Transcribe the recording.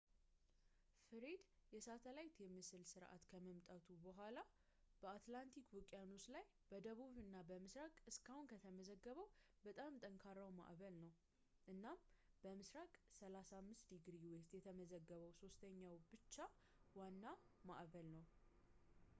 ፍሬድ የሳተላይት የምስል ስርአት ከመምጣቱ በኋላ በአትላንቲክ ውቅያኖስ ላይ በደቡብ እና ምስራቅ እስካሁን ከተመዘገበው በጣም ጠንካራው ማዕበል ነው፣ እና በምስራቅ 35 °w የተመዘገበው ሶስተኛው ብቻ ዋና ማዕበል ነው